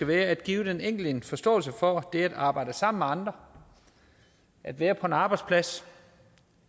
være at give den enkelte en forståelse for det at arbejde sammen med andre at være på en arbejdsplads